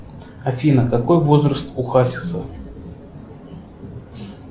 афина какой возраст у хасиса